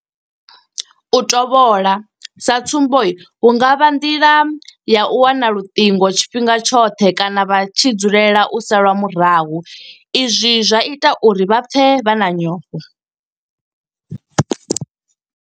U tovholwa sa tsumbo hu nga vha nga nḓila ya u wana luṱingo tshifhinga tshoṱhe kana vha tshi dzulela u salwa murahu izwi zwa ita uri vha pfe vha na nyofho.